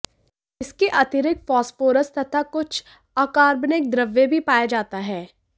इसके अतिरिक्त फॉस्फोरस तथा कुछ अकार्बनिक द्रव्य भी पाया जाता है